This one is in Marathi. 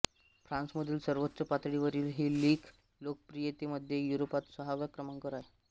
फ्रान्समधील सर्वोच्च पातळीवरील ही लीग लोकप्रियतेमध्ये युरोपात सहाव्या क्रमांकावर आहे